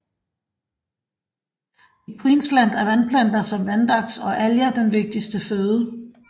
I Queensland er vandplanter som vandaks og alger den vigtigste føde